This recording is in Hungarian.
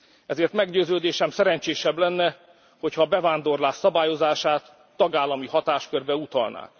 Ezért meggyőződésem, szerencsésebb lenne, hogyha a bevándorlás szabályozását tagállami hatáskörbe utalnák.